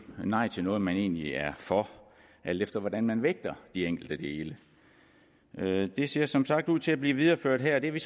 nej til noget man egentlig er for alt efter hvordan man vægter de enkelte dele det ser som sagt ud til at blive videreført her og det er vi